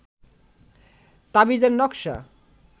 তাবিজের নকশা